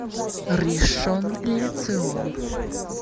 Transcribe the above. ришон ле цион